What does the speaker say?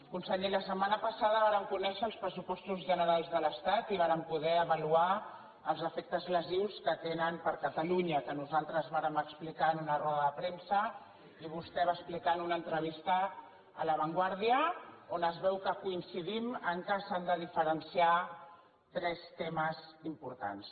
conseller la setmana passada vàrem conèixer els pressupostos generals de l’estat i vàrem poder avaluar els efectes lesius que tenen per a catalunya que nosaltres vàrem explicar en una roda de premsa i vostè va explicar en una entrevista a la vanguardia on es veu que coincidim que s’han de diferenciar tres temes importants